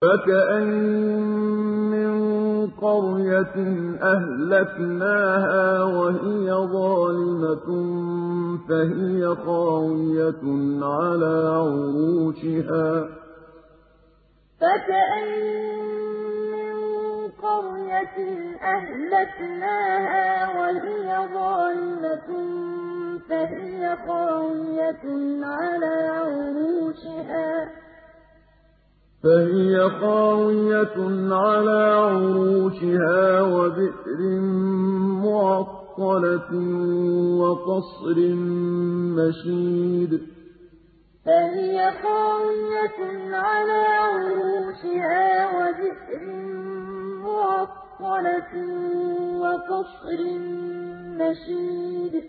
فَكَأَيِّن مِّن قَرْيَةٍ أَهْلَكْنَاهَا وَهِيَ ظَالِمَةٌ فَهِيَ خَاوِيَةٌ عَلَىٰ عُرُوشِهَا وَبِئْرٍ مُّعَطَّلَةٍ وَقَصْرٍ مَّشِيدٍ فَكَأَيِّن مِّن قَرْيَةٍ أَهْلَكْنَاهَا وَهِيَ ظَالِمَةٌ فَهِيَ خَاوِيَةٌ عَلَىٰ عُرُوشِهَا وَبِئْرٍ مُّعَطَّلَةٍ وَقَصْرٍ مَّشِيدٍ